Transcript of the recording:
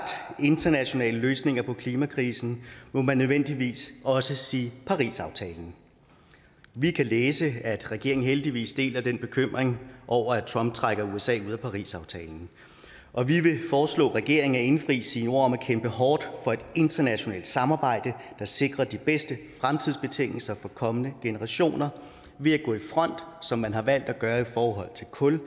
internationale løsninger på klimakrisen må man nødvendigvis også sige parisaftalen vi kan læse at regeringen heldigvis deler bekymringen over at trump trækker usa ud af parisaftalen og vi vil foreslå regeringen at indfri sine ord om at kæmpe hårdt for et internationalt samarbejde der sikrer de bedste fremtidsbetingelser for kommende generationer ved at gå i front som man har valgt at gøre i forhold til kul